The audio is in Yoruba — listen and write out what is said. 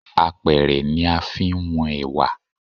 Apẹ̀rẹ̀ ni a fi ń wọn Ẹ̀wà.